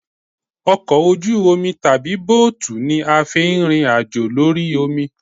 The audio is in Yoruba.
Ọkọ ojú omi tàbí bóòtù ni a fi ń rìnrìn àjò lórí omi